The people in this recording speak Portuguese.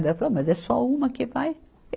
Daí ela falou, mas é só uma que vai.